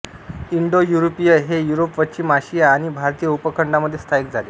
Indo युरोपीय हे Europe पश्चिम आशिया आणि भारतीय उपखंडामध्ये स्थायिक झाले